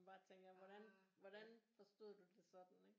Bare tænker hvordan hvordan forstod du det sådan ikke